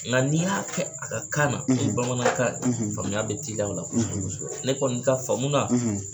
Nga n'i y'a kɛ a ka kan na n'o ye bamanankan ye ,faamuya be teliya o la kɔsɛbɛ kɔsɛb . Ne kɔni ka faamu na